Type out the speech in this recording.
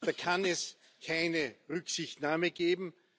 Da kann es keine Rücksichtnahme geben.